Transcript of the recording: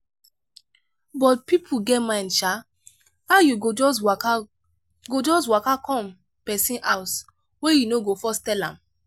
but pipo get mind sha. how you go just waka go just waka come pesin house wey you no go first tel am?